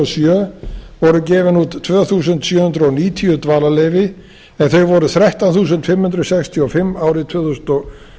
sjö voru gefin út tvö þúsund sjö hundruð níutíu dvalarleyfi en þau voru þrettán þúsund fimm hundruð sextíu og fimm árið tvö þúsund og